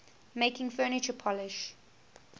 making furniture polish